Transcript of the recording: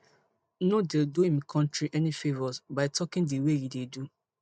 no dey do im country any favours by talking di way e dey do